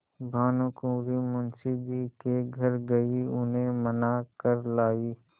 भानुकुँवरि मुंशी जी के घर गयी उन्हें मना कर लायीं